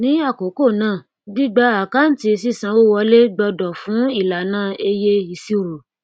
ni àkókò náà gbígba àkáǹtí sísanwowọlé gbọdọ fún ìlànà eye ìṣirò